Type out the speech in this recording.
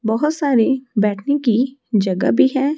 बहोत सारी बैठने की जगह भी है।